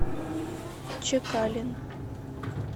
чекалин